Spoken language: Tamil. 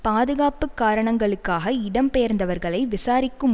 பாதுகாப்பு காரணங்களுக்காக இடம்பெயர்ந்தவர்களை விசாரிக்கும்